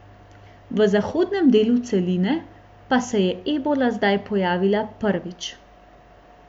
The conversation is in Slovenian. V zahodnem delu celine pa se je ebola zdaj pojavila prvič.